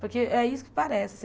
Porque é isso que parece.